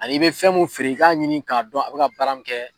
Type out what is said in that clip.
Ani i bɛ fɛn mun feere i k'a ɲini k'a dɔn a bɛ ka baara mun kɛ.